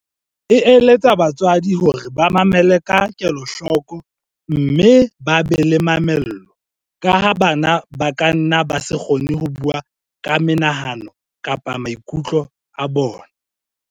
e eletsa batswadi hore ba mamele ka kelohloko mme ba be le mamello, ka ha bana ba kanna ba se kgone ho bua ka menahano kapa maiku tlo a bona.